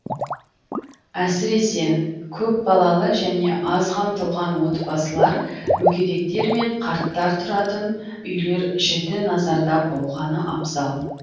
әсіресе көпбалалы және аз қамтылған отбасылар мүгедектер мен қарттар тұратын үйлер жіті назарда болғаны абзал